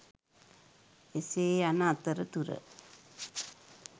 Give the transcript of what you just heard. එසේ යන අතරතුර